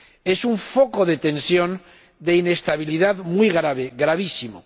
Es un foco de tensión y de inestabilidad muy grave, gravísimo.